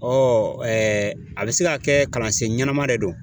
a bɛ se ka kɛ kalansen ɲɛnama de don.